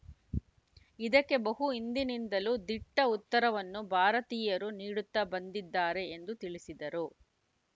ಇದಕ್ಕೆ ಬಹು ಹಿಂದಿನಿಂದಲೂ ದಿಟ್ಟ ಉತ್ತರವನ್ನು ಭಾರತೀಯರು ನೀಡುತ್ತಾ ಬಂದಿದ್ದಾರೆ ಎಂದು ತಿಳಿಸಿದರು